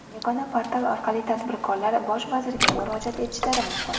Yagona portal orqali tadbirkorlar Bosh vazirga murojaat etishlari mumkin.